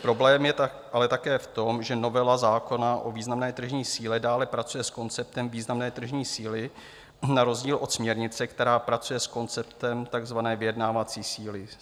Problém je ale také v tom, že novela zákona o významné tržní síle dále pracuje s konceptem významné tržní síly na rozdíl od směrnice, která pracuje s konceptem takzvané vyjednávací síly.